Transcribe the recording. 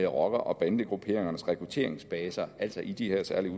rocker og bandegrupperingernes rekrutteringsbaser altså i de her særlige